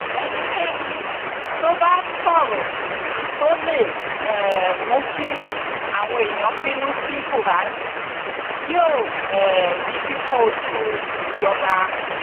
ẹnikẹni tó bá ń sọrọ tó lè um mú kí àwọn èèyàn bínú sí buhari yóò um rí pípọn ojú ìjọba